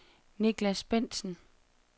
Nicklas Bendtsen